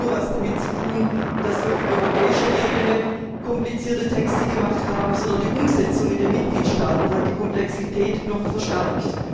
Das hat nicht nur etwas damit zu tun, dass wir auf europäischer Ebene komplizierte Texte verfasst haben, sondern die Umsetzung in den Mitgliedstaaten hat die Komplexität noch verstärkt.